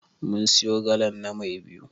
Mun siyo galan na Mai biyu.